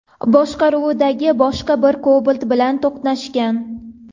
boshqaruvidagi boshqa bir Cobalt bilan to‘qnashgan.